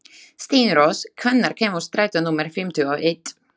Steinrós, hvenær kemur strætó númer fimmtíu og eitt?